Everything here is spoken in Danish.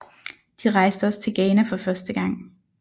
De rejste også til Ghana for første gang